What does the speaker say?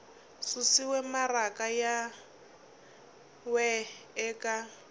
susiwe maraka yin we eka